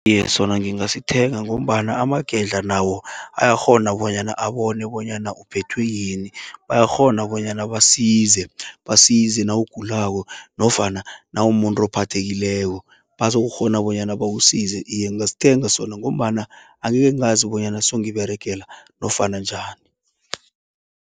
Iye sona ngingasithenga, ngombana amagedla nawo ayakghona, bonyana abone bonyana uphethwe yini. Bayakghona bonyana basize, basize nawugulako nofana nawumuntu ophathekileko. Bazokukghona bonyana bakusize, iye ngingasithenga sona, ngombana angeke ngazi bonyana songiberegela nofana njani.